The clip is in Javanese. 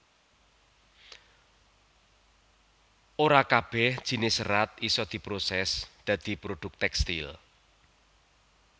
Ora kabèh jinis serat isa diprosès dadi produk tèkstil